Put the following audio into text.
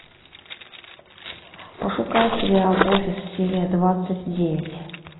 пошукай сериал офис серия двадцать девять